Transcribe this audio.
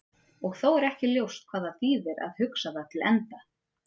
Og þó er ekki ljóst hvað það þýðir að hugsa það til enda.